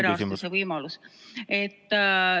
Palun küsimus!